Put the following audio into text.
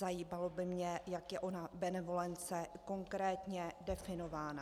Zajímalo by mě, jak je ona benevolence konkrétně definována.